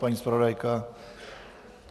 Paní zpravodajka?